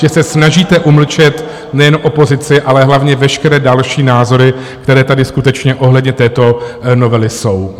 Že se snažíte umlčet nejen opozici, ale hlavně veškeré další názory, které tady skutečně ohledně této novely jsou.